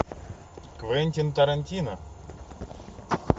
квентин тарантино